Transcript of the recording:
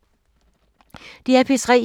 DR P3